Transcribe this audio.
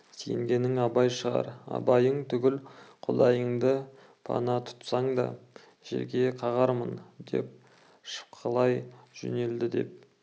сенгенің абай шығар абайың түгіл құдайыңды пана тұтсаң да жерге қағармын деп шапқылай жөнелді деп